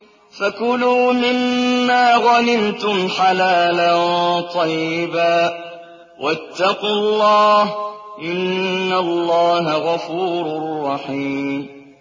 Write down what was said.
فَكُلُوا مِمَّا غَنِمْتُمْ حَلَالًا طَيِّبًا ۚ وَاتَّقُوا اللَّهَ ۚ إِنَّ اللَّهَ غَفُورٌ رَّحِيمٌ